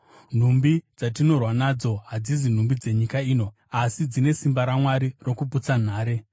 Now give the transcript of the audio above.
Nhumbi dzatinorwa nadzo hadzizi nhumbi dzenyika ino. Asi dzine simba raMwari rokuputsa nhare.